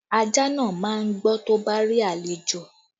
Ajá náà máa gbó tó bá rí àlejò